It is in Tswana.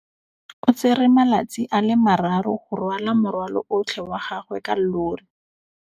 O tsere malatsi a le marraro go rwala morwalo otlhe wa gagwe ka llori.